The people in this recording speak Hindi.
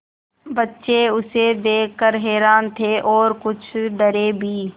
बच्चे उसे देख कर हैरान थे और कुछ डरे भी